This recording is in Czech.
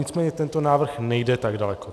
Nicméně tento návrh nejde tak daleko.